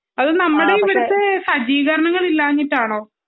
അത് നമ്മളെ ഇവിടുത്തെ സജ്ജീകരണങ്ങൾ ഇല്ലാഞ്ഞിട്ടാണോ